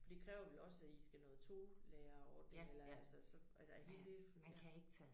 For det kræver vel også at I skal noget tolæreordning eller altså så er det hele det ja